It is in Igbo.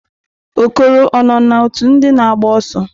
Okoro o-na òtù ndị na agba ọsọ?